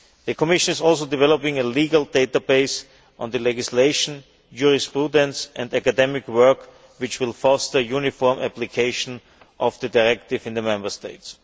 The Commission is also developing a legal database on the legislation, jurisprudence and academic work which will foster uniform application of the directive in the Member States.